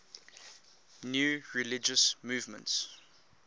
new religious movements